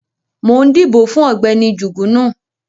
Mo ń dìbò fún Ọ̀gbẹ́ni Jugunu